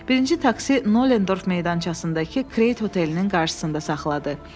Birinci taksi Noldorf meydançasındakı Kreyt hotelinin qarşısında saxladı.